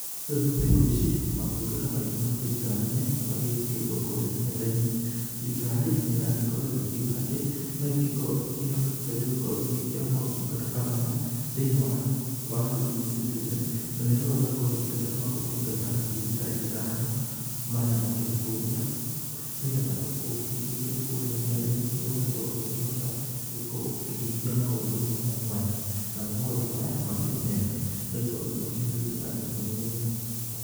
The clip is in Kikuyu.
Rĩu thikũ ici maũtungata maingĩ ma thirikari-inĩ, nĩ magĩgĩkĩrĩtwo kũrĩa nenda-inĩ. Thirikari nĩ ĩrakorwo igĩkiuga atĩ, no ĩgĩkorwo ĩkĩhotete gũkorwo ĩgĩkĩra maũtungata ta maya thĩ-inĩ wa E-Citizen, na nĩ ĩrauga no ĩkorwo ĩkĩrĩte maũtungata ngiri ta ithano marĩa makĩrĩ kũrĩa nĩgetha ũngĩgĩkĩingĩra kũrĩa ng'enda-inĩ, ũgagĩkorwo ũgĩkĩhota gũgĩkorwo ũgĩkĩhingia maũndũ mwanya mwanya, namo maũndũ maya makĩrĩ mega nĩ gũkorwo nĩ makĩhũthĩirie andũ mũno wĩra.